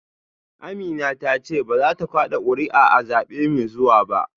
Amina ta ce ba za ta kada kuri’a a zabe mai zuwa ba